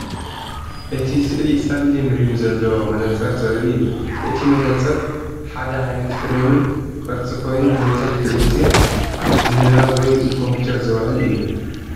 እቲ ስእሊ ጸሊም ሪም ዘለዎ መነጽር ዘርኢ እዩ። እቲ መነጽር ሓደ ዓይነት ፍሬምን ቅርጺ ኮይኑ፡ መብዛሕትኡ ግዜ ንንባብ ወይ ንኮምፒተር ዝውዕል እዩ።